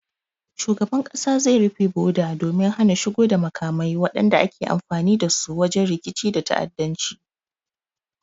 Shugaban kasa zai rufe boda domin hana shigo da makamai wadanda ake amfani dasu wajen rikici da ta'addanci